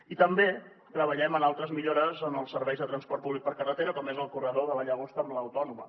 i també treballem en altres millores en els serveis de transport públic per carretera com és el corredor de la llagosta amb l’autònoma